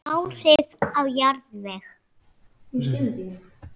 Áhrif á jarðveg